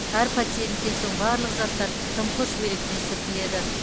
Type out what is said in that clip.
әр пациенттен соң барлық заттар дымқыл шүберекпен сүртіледі